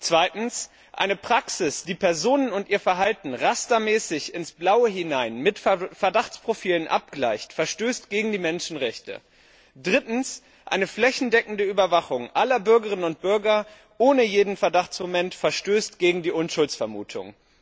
Zweitens, eine Praxis, die Personen und ihr Verhalten rastermäßig ins Blaue hinein mit Verdachtsprofilen abgleicht, verstößt gegen die Menschenrechte. Drittens, eine flächendeckende Überwachung aller Bürgerinnen und Bürger ohne jedes Verdachtsmoment verstößt gegen die Unschuldsvermutung.